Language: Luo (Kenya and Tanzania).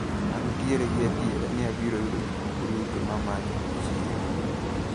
Antiere gi adiera ni abiro yudo gikmoko duto mamanyo e chiro.